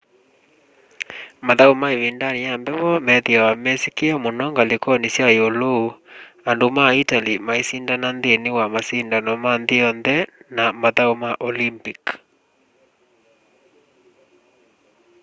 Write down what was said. mathau ma ivindani ya mbevo methiawa mesikiie muno ngalikoni sya iulu andu ma itali maisindana nthini wa masindano ma nthi yonthe na mathau ma olympic